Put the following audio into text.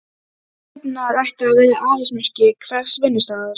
Þrifnaður ætti að vera aðalsmerki hvers vinnustaðar.